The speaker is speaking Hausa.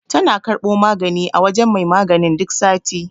Tana karɓo magani a wajen mai maganin duk sati.